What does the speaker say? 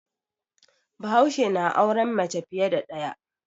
Bahaushe na auren mace fiye da ɗaya.